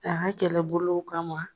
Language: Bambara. A ka kɛlɛbolo kama